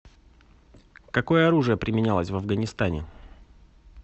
какое оружие применялось в афганистане